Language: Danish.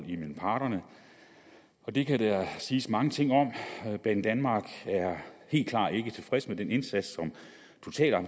imellem parterne og det kan der siges mange ting om banedanmark er helt klart ikke tilfreds med den indsats